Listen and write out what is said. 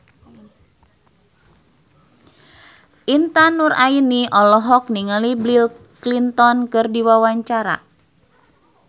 Intan Nuraini olohok ningali Bill Clinton keur diwawancara